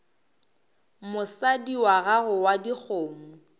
mosadi wa gago wa dikgomo